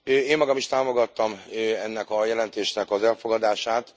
Én magam is támogattam ennek a jelentésnek az elfogadását.